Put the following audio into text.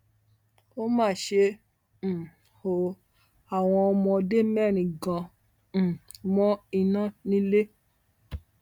ó mà ṣe um o àwọn ọmọdé mẹrin gan um mọ iná ńilé